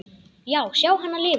Já, sjá hana lifa.